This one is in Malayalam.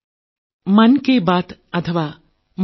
എൻഎസ്